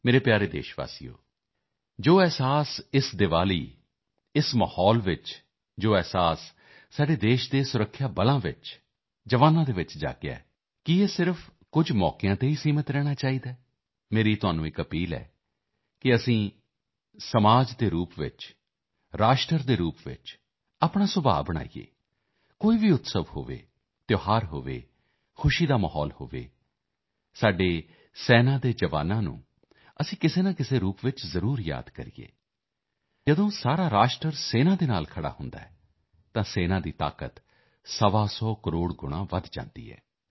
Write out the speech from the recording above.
ਮੇਰੇ ਪਿਆਰੇ ਦੇਸ਼ਵਾਸੀਓ ਜੋ ਅਹਿਸਾਸ ਇਸ ਦੀਵਾਲੀ ਇਸ ਮਾਹੌਲ ਵਿੱਚ ਜੋ ਅਨੁਭੂਤੀ ਸਾਡੇ ਦੇਸ਼ ਦੇ ਸੁਰੱਖਿਆ ਬਲਾਂ ਦੇ ਵਿਚਕਾਰਜਵਾਨਾਂ ਦੇ ਵਿਚਕਾਰ ਜਾਗੀ ਹੈ ਕੀ ਇਹ ਸਿਰਫ਼ ਕੁਝ ਮੌਕਿਆਂ ਤੇ ਹੀ ਸੀਮਤ ਰਹਿਣਾ ਚਾਹੀਦਾ ਹੈ ਮੇਰੀ ਤੁਹਾਨੂੰ ਅਪੀਲ ਹੈ ਕਿ ਅਸੀਂ ਇੱਕ ਸਮਾਜ ਦੇ ਰੂਪ ਵਿੱਚ ਰਾਸ਼ਟਰ ਦੇ ਰੂਪ ਵਿੱਚ ਆਪਣਾ ਸੁਭਾਅ ਬਣਾਈਏ ਆਪਣੀ ਪ੍ਰਕਿਰਤੀ ਬਣਾਈਏ ਕੋਈ ਵੀ ਉਤਸਵ ਹੋਵੇ ਤਿਉਹਾਰ ਹੋਵੇ ਖੁਸ਼ੀ ਦਾ ਮਾਹੌਲ ਹੋਵੇ ਸਾਡੇ ਦੇਸ਼ ਦੇ ਸੈਨਾ ਦੇ ਜਵਾਨਾਂ ਨੂੰ ਅਸੀਂ ਕਿਸੇਨਾਕਿਸੇ ਰੂਪ ਵਿੱਚ ਜ਼ਰੂਰ ਯਾਦ ਕਰੀਏ ਜਦੋਂ ਸਾਰਾ ਰਾਸ਼ਟਰ ਸੈਨਾ ਨਾਲ ਖੜ੍ਹਾ ਹੁੰਦਾ ਹੈ ਤਾਂ ਸੈਨਾ ਦੀ ਤਾਕਤ 125 ਕਰੋੜ ਗੁਣਾ ਵਧ ਜਾਂਦੀ ਹੈ